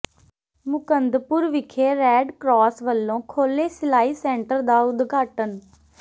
ਮੁਕੰਦਪੁਰ ਵਿਖੇ red cross ਵਲੋਂ ਖੋਲ੍ਹੇ ਸਿਲਾਈ ਸੈਂਟਰ ਦਾ ਉਦਘਾਟਨ